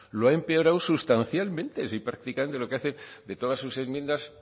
lo ha empeorado sustancialmente si prácticamente lo que hace de todas sus enmiendas